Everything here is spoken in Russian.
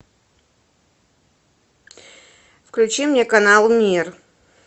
включи мне канал мир